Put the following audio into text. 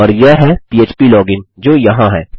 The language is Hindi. और यह है फ्प्लोजिन जो यहाँ है